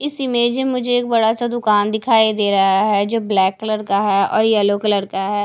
इस इमेज में एक मुझे बड़ासा दुकान दिखाई दे रहा है जो ब्लैक कलर का है और येलो कलर का है।